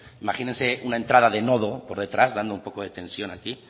imagínense una entrada de nodo por detrás dando un poco de tensión aquí